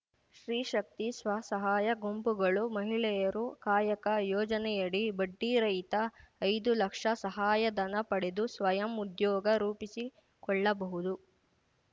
ಸ್ತ್ರೀ ಶಕ್ತಿ ಸ್ವಸಹಾಯ ಗುಂಪುಗಳು ಮಹಿಳೆಯರು ಕಾಯಕ ಯೋಜನೆಯಡಿ ಬಡ್ಡಿರಹಿತ ಐದು ಲಕ್ಷ ಸಹಾಯಧನ ಪಡೆದು ಸ್ವಯಂ ಉದ್ಯೋಗ ರೂಪಿಸಿಕೊಳ್ಳಬಹುದು